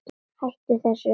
Hættu þessu.